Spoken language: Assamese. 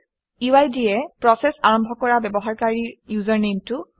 UID এ প্ৰচেচ আৰম্ভ কৰা ব্যৱহাৰকাৰীৰ ইউজাৰনেমটো দিয়ে